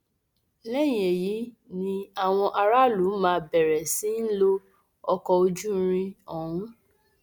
lẹyìn èyí ni àwọn aráàlú máa bẹrẹ sí í lo ọkọ ojú irin ọhún